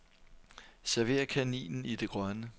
Server kaninen i det grønne.